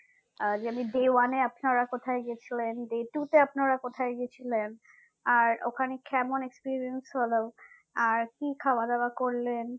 আহ যে আমি day one এ আপনারা কোথায় গেছিলেন day two তে আপনারা কোথায় গেছিলেন আর ওখানে কেমন experience হলো আর কি খাওয়া দাওয়া করলেন